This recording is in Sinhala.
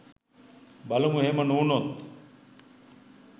බලමු එහෙම නොවුනොත්